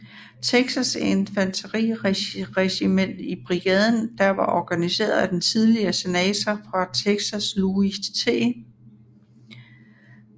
Texas infanteriregiment i brigaden der var organiseret af den tidligere senator fra Texas Louis T